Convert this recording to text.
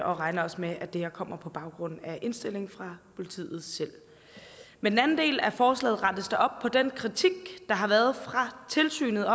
og regner også med at det her kommer på baggrund af indstilling fra politiet selv med den anden del af forslaget rettes der op på den kritik der har været fra tilsynet